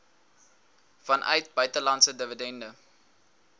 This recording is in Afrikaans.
vanuit buitelandse dividende